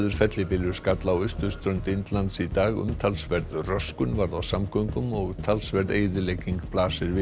fellibylur skall á austurströnd Indlands í dag umtalsverð röskun varð á samgöngum og talsverð eyðilegging blasir við